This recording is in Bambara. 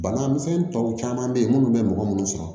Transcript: Bana misɛnnin tɔw caman bɛ yen minnu bɛ mɔgɔ minnu sɔrɔ